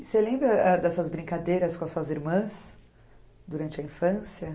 Você lembra ãh dessas brincadeiras com as suas irmãs durante a infância?